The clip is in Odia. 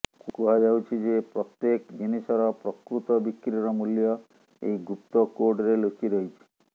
କୁହାଯାଉଛି ଯେ ପ୍ରତ୍ୟେକ ଜିନିଷର ପ୍ରକୃତ ବିକ୍ରିର ମୂଲ୍ୟ ଏହି ଗୁପ୍ତ କୋଡ଼ରେ ଲୁଚି ରହିଛି